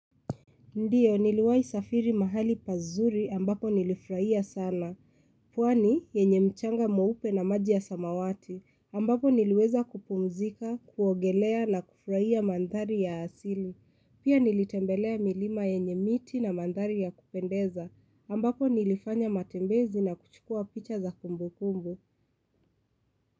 Ndio niliwai safiri mahali pazuri ambapo nilifraia sana. Pwani yenye mchanga muupe na maji ya samawati ambapo niliweza kupunzika, kuogelea na kufraia mandhari ya asili. Pia nilitembelea milima yenye miti na mandhari ya kupendeza ambapo nilifanya matembezi na kuchukua picha za kumbu kumbu.